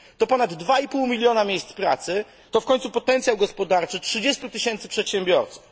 To ponad 2,5 miliona miejsc pracy, to w końcu potencjał gospodarczy 30 tys. przedsiębiorców.